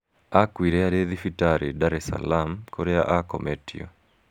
Akuire arĩ thibitarĩ , Dar es Salaam, kũrĩa akometio.